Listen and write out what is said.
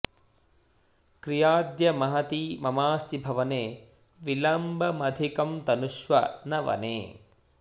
क्रियाद्य महती ममास्ति भवने विलम्बमधिकं तनुष्व न वने